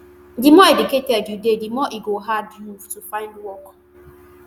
di more educated you dey di more e go hard you to find work